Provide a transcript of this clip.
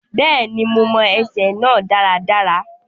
Bẹ́ẹ̀ni, mo mọ ẹsẹ náà dáradára.